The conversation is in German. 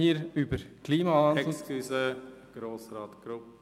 Bitte entschuldigen Sie, Grossrat Grupp.